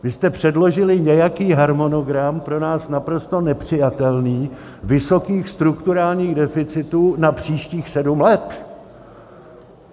Vy jste předložili nějaký harmonogram, pro nás naprosto nepřijatelný, vysokých strukturálních deficitů na příštích sedm let.